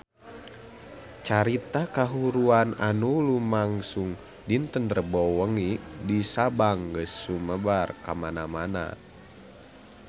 Carita kahuruan anu lumangsung dinten Rebo wengi di Sabang geus sumebar kamana-mana